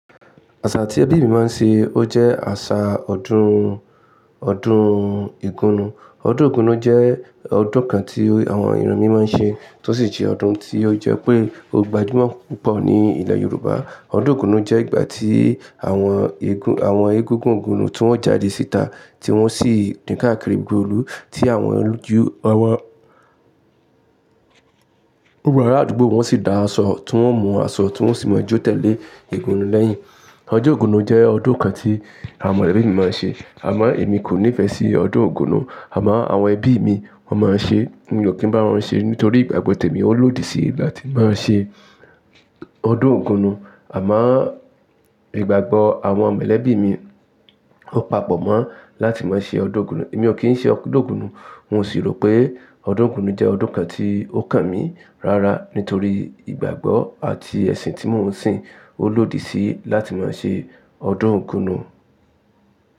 Àṣà tí ẹbí mi máa ń ṣe, ó jẹ́ àṣà ọdún, ọdún igúnú. Ọdún Igúnú jẹ́ ọdún kan tí àwọn ìran mi máa ń ṣe, tó sì jẹ́ ọdún tí ó jẹ́ pé ó gbajúmọ̀ púpọ̀ ní ilẹ̀ Yorùbá. Ọdún Igúnu jẹ́ ìgbà tí àwọn egún, àwọn egúngún ígúnú ni wọ́n jáde síta tí wọ́n sì dín káàkiri gbogbo ìlú tí àwọn olójú, àwọn Olú àdúgbò wọ́n sì dá aṣọ, tí wọ́n mú aṣọ, tí wọ́n sì máa jó tẹ̀lé ègún lẹ́yìn. Ọjọ́ Ogúnú jẹ́ ọdún kan tí àwọn molẹbí mi máa ń ṣe. Àmọ́ èmi kò nífẹ̀ẹ́ sí ọdún Ògún. Àmọ́ àwọn ẹbí mi wọ́n máa ń ṣe, mi ò kí ń bá wọn ṣe nítorí ìgbàgbọ́ tèmi ó lòdì sí láti máa ṣe ọdún Ògúnú. Àmọ́, ìgbàgbọ́ àwọn mẹ̀lẹ̀bí mi ò papọ̀ mọ́ láti máa ṣe ọdún Ògúnú. Èmi ò kí ń ṣe ọdún Ògúnú, n ò sì rò pé ọdún Ògúnú jẹ́ ọdún kan tí ó kàn mí. Rárá, nítorí ìgbàgbọ́ àti ẹ̀sìn tí mò ń sìn ó lòdì sí láti máa ṣe ọdún Ògún.